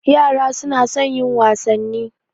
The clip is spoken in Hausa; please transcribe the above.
Yara suna son yin wasanni.